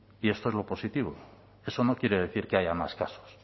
y esto es lo positivo eso no quiere decir que haya más casos